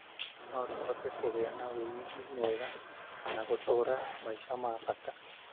No tũhote kũgia na wĩigwi mwega na gũtũra maica ma bata.